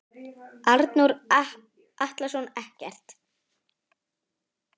Arnór Atlason ekkert.